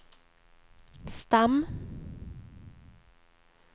stam